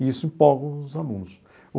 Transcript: E isso empolga os alunos.